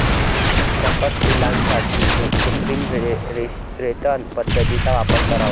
सकस पिल्लांसाठी कृत्रिम रेतन पद्धतीचा वापर करावा.